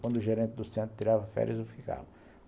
Quando o gerente do Centro tirava férias, eu ficava.